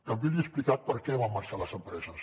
també li he explicat per què van marxar les empreses